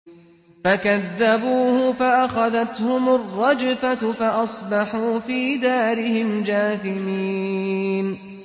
فَكَذَّبُوهُ فَأَخَذَتْهُمُ الرَّجْفَةُ فَأَصْبَحُوا فِي دَارِهِمْ جَاثِمِينَ